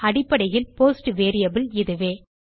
அடிப்படையில் post variable இதுவே